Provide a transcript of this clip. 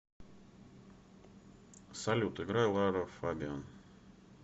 салют играй лара фабиан